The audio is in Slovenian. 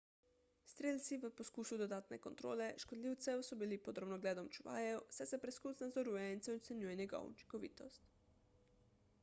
strelci v poskusu dodatne kontrole škodljivcev so bili pod drobnogledom čuvajev saj se preskus nadzoruje in se ocenjuje njegova učinkovitost